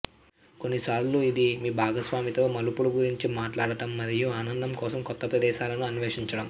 కొన్నిసార్లు ఇది మీ భాగస్వామి తో మలుపులు గురించి మాట్లాడటం మరియు ఆనందం కోసం కొత్త ప్రదేశాలను అన్వేషించడం